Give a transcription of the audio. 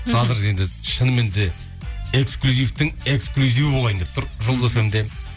қазір енді шыныменде эксклюзивтің эксклюзиві болайын деп тұр жұлдыз фм де